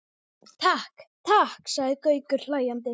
Takk, takk sagði Gaukur hlæjandi.